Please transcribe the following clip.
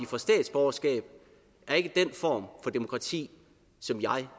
får statsborgerskab er ikke den form for demokrati som jeg